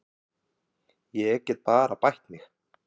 Ég get bara bætt mig.